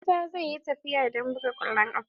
Musa zai yi tafiya don buga kwallon kafa.